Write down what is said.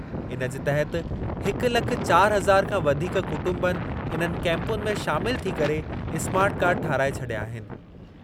इनजे तहति हिक लख चारि हज़ार खां वधीक कुटुंबनि इन्हनि कैंपुनि में शामिलु थी करे स्मार्ट कार्ड ठाहराए छॾिया आहिनि।